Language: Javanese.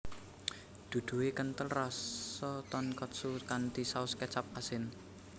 Duduhe kenthel rasa tonkotsu kanthi saus kecap asin